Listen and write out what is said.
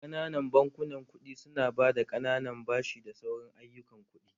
Ƙananan bankunan kuɗi su na ba da ƙananan bashi da sauran ayyukan kuɗi